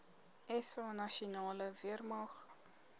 sa nasionale weermag